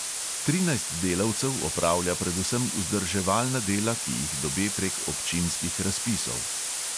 Trinajst delavcev opravlja predvsem vzdrževalna dela, ki jih dobe prek občinskih razpisov.